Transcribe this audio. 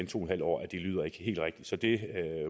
to en halv år det lyder ikke helt rigtigt så det